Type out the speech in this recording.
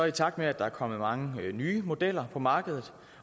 i takt med at der er kommet mange nye modeller på markedet